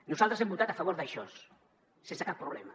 nosaltres hem votat a favor d’això sense cap problema